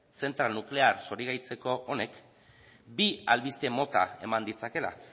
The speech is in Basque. zentral nuklear zorigaitzeko honek bi albiste mota ematen ditzakeela